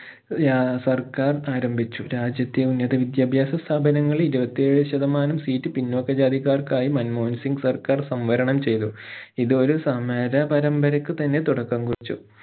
ആഹ് സർക്കാർ ആരംഭിച്ചു രാജ്യത്തെ ഉന്നത വിദ്യാഭാസ സ്ഥാപനങ്ങൾ ഇരുപത്തി ഏഴ് ശതമാനം seat പിന്നോക്ക ജാതിക്കാർക്കായി മൻമോഹൻ സിംഗ് സർക്കാർ സംവരണം ചെയ്തു ഇത് ഒരു സമര പരമ്പരക്ക് തന്നെ തുടക്കം കുറിച്ചു